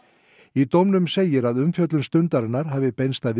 í dómnum segir að umfjöllun Stundarinnar hafi beinst að